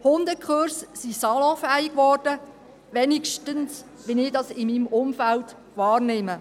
Hundekurse sind salonfähig geworden, wenigstens nehme ich das in meinem Umfeld wahr.